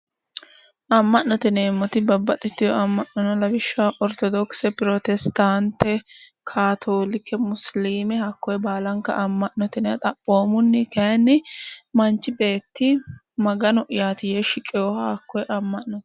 Amma'note yineemmoti babbaxxitino amma'no no lawishshaho, orittodokise, pirotesitaante, kaatoolike, musiliime hakkoye baala amma'note xaaphoomunni kayiinni manchu beetti magano'yaati yee shiqeha hakkoye amma'no.